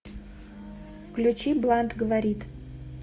включи блант говорит